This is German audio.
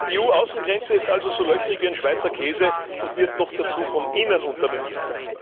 Die EU Außengrenze ist also so löchrig wie ein Schweizer Käse und wird noch dazu von innen unterminiert.